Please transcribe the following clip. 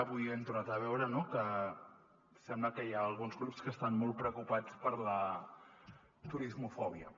avui ho hem tornat a veure que sembla que hi ha alguns grups que estan molt preocupats per la turismofòbia